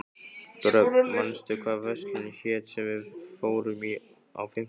Dröfn, manstu hvað verslunin hét sem við fórum í á fimmtudaginn?